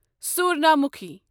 سوٗرنامُکھی